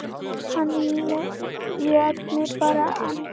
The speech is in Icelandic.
Hann lét mig bara anda.